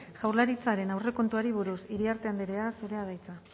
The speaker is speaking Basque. jaurlaritzaren aurrekontuari buruz iriarte andrea zurea da hitza